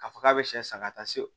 K'a fɔ k'a bɛ sɛ san ka taa se o